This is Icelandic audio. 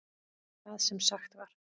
Það sem sagt var